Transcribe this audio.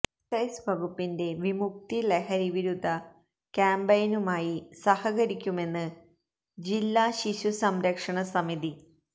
excise വകുപ്പിന്റെ വിമുക്തി ലഹരിവിരുദ്ധ ക്യാമ്പയിനുമായി സഹകരിക്കുമെന്ന് ജില്ലാ ശിശുസംരക്ഷണ സമിതി